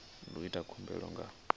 ndi u ita khumbelo nga